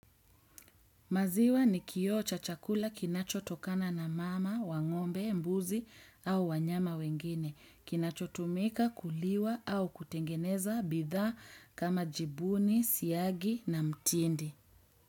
Maziwa ni kioo cha chakula kinachotokana na mama, wa ng'ombe, mbuzi au wanyama wengine. Kinachotumika, kuliwa au kutengeneza, bidhaa, kama jibuni, siagi na mtindi.